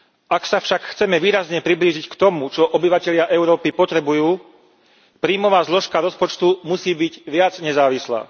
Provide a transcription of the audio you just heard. Ak sa však chceme výrazne priblížiť k tomu, čo obyvatelia Európy potrebujú, príjmová zložka rozpočtu musí byť viac nezávislá.